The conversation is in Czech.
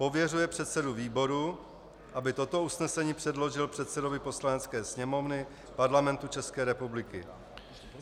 Pověřuje předsedu výboru, aby toto usnesení předložil předsedovi Poslanecké sněmovny Parlamentu České republiky.